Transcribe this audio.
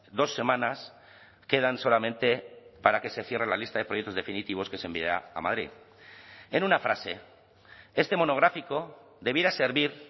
dos semanas quedan solamente para que se cierre la lista de proyectos definitivos que se envía a madrid en una frase este monográfico debiera servir